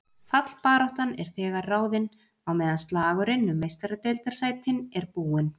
Fallbaráttan er þegar ráðin, á meðan slagurinn um Meistaradeildarsætin er búinn.